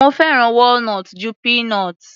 Mo fẹ́ràn walnut ju peanut.